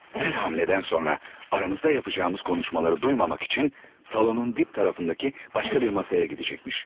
Hər gedişdən sonra aramızda edəcəyimiz danışıqları eşitməmək üçün zalın dib tərəfindəki başqa bir masaya gedəcəkmiş.